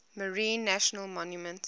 marine national monument